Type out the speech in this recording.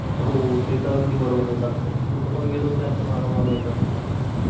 हो ते तर अगदी बरोबर बोललात कुठे पण गेलो तर आपल्या मागं मागं येतात